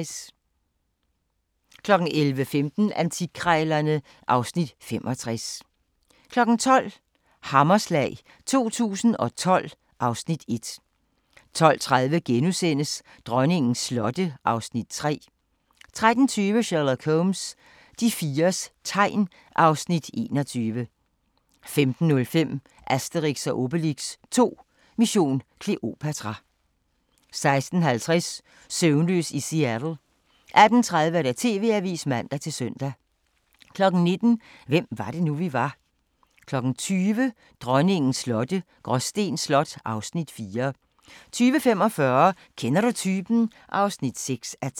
11:15: Antikkrejlerne (Afs. 65) 12:00: Hammerslag 2012 (Afs. 1) 12:30: Dronningens slotte (Afs. 3)* 13:20: Sherlock Holmes: De fires tegn (Afs. 21) 15:05: Asterix & Obelix 2: Mission Kleopatra 16:50: Søvnløs i Seattle 18:30: TV-avisen (man-søn) 19:00: Hvem var det nu, vi var? 20:00: Dronningens slotte – Gråsten Slot (Afs. 4) 20:45: Kender du typen? (6:10)